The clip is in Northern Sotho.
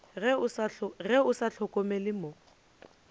ge o sa hlokomele mo